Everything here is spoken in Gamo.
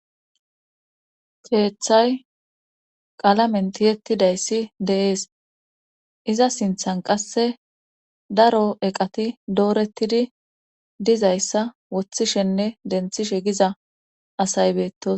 Keethay qalamen tiyettidayssi de7es iza sinthan qasse daro eqati doorettidi dizayssa woththishenne denthishe giza asaybeetos